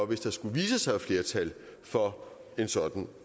hvis der skulle vise sig et flertal for en sådan